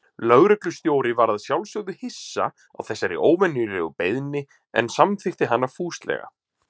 Lögreglustjóri var að sjálfsögðu hissa á þessari óvenjulegu beiðni, en samþykkti hana fúslega.